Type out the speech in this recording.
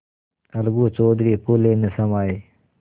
अलगू चौधरी फूले न समाये